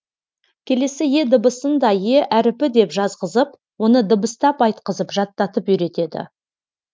келесі е дыбысында е әріпі деп жазғызып оны дыбыстап айтқызып жаттатып үйретеді